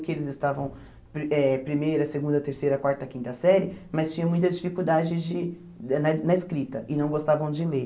que eles estavam pri eh primeira, segunda, terceira, quarta, quinta série, mas tinha muita dificuldade de na na escrita e não gostavam de ler.